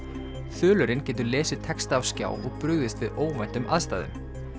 þulurinn getur lesið texta af skjá og brugðist við óvæntum aðstæðum